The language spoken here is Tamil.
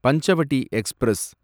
பஞ்சவடி எக்ஸ்பிரஸ்